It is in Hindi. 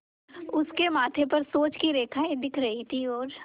उसके माथे पर सोच की रेखाएँ दिख रही थीं और